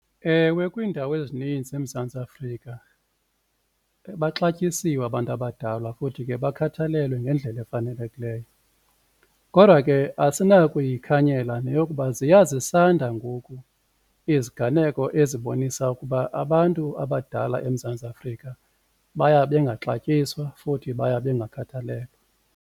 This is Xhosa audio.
Ewe, kwiindawo ezininzi eMzantsi Afrika baxatyisiwe abantu abadala futhi ke bakhathalelwe ngendlela efanelekileyo, kodwa ke asinakuyikhanyela neyokuba ziya zisanda ngoku iziganeko ezibonisa ukuba abantu abadala eMzantsi Afrika baya bengaxatyiswa futhi baya bengakhathalelwa.